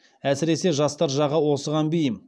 әсіресе жастар жағы осыған бейім